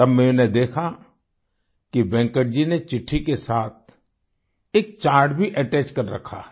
तब मैंने देखा कि वेंकट जी ने चिट्ठी के साथ एक चार्ट भी अटैच कर रखा है